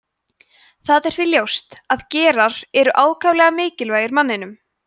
það er því ljóst að gerar eru ákaflega mikilvægir manninum